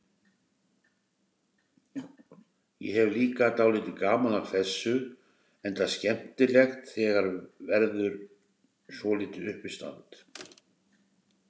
Ég hefi líka dálítið gaman af þessu, enda skemmtilegt þegar verður svolítið uppistand.